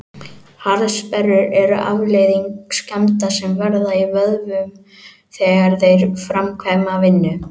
Harðsperrur eru afleiðing skemmda sem verða í vöðvum þegar þeir framkvæma vinnu.